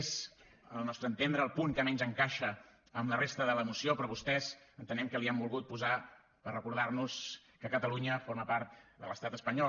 és al nostre entendre el punt que menys encaixa amb la resta de la moció però vostès entenem que l’hi han volgut posar per recordar nos que catalunya forma part de l’estat espanyol